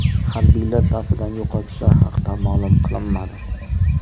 Harbiylar safidan yo‘qotishlar haqida ma’lum qilinmadi.